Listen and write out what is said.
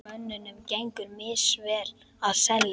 Mönnum gengur misvel að selja.